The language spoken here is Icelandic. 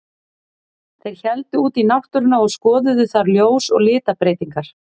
Þeir héldu út í náttúruna og skoðuðu þar ljós og litabreytingar.